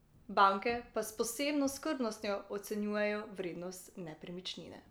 Banke pa s posebno skrbnostjo ocenjujejo vrednost nepremičnine.